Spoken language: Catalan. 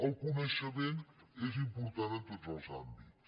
el coneixement és important en tots els àmbits